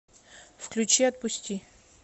включи отпусти